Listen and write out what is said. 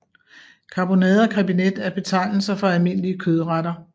Karbonade og krebinet er betegnelser for almindelige kødretter